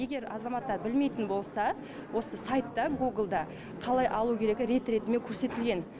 егер азаматтар білмейтін болса осы сайтта гуглда қалай алу керек рет ретімен көрсетілген